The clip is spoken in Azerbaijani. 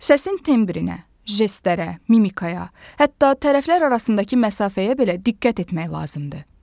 Səsin tembrinə, jestlərə, mimikaya, hətta tərəflər arasındakı məsafəyə belə diqqət etmək lazımdır.